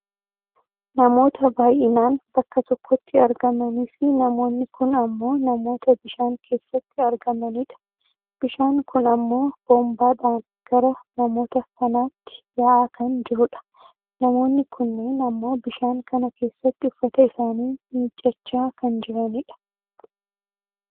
Namoota baayyinaan bakka tokkotti argamanii fi namoonni kun ammoo namoota bishaan keessatti argamanidha. Bishaan kun ammoo boonbaadhaan gara namoota kanaatti yaa'aa kan jirudha. Namoonni kunneen ammoo bishaaan kana keessatti uffata isaanii miiccachaa kan jiranidha.